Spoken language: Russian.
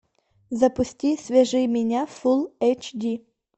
запусти свяжи меня фул эйч ди